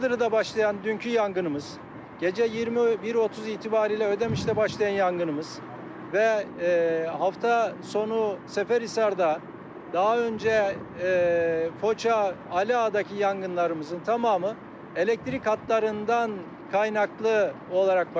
Ödəmidə başlayan dünki yanğımız, gecə 21:30 etibarıyla Ödəmişdə başlayan yanğımız və hafta sonu Səfərisarda daha öncə Foca, Aliağadakı yanğınlarımızın tamamı elektrik xətlərindən qaynaqlı olaraq başladı.